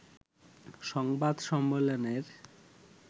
সংবাদ সম্মেলনের